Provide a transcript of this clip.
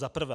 Za prvé.